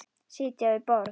Sitja við borð